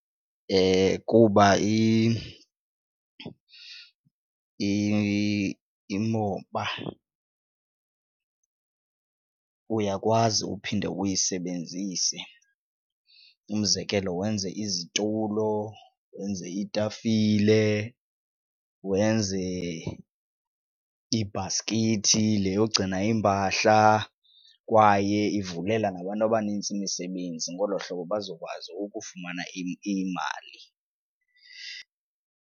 Kuba imoba uyakwazi ukuphinde uyisebenzise. Umzekelo wenze izitulo, wenze iitafile, wenze ibhaskithi le yogcina iimpahla kwaye ivulela nabantu abanintsi imisebenzi, ngolo hlobo bazokwazi ukufumana imali.